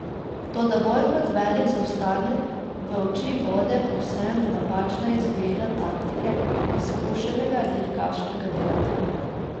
Toda bolj kot velik zaostanek v oči bode povsem napačna izbira taktike izkušenega dirkaškega doktorja.